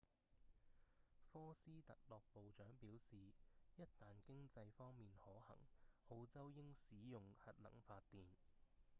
科斯特洛部長表示一旦經濟方面可行澳洲應使用核能發電